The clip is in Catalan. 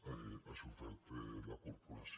ha sofert la corporació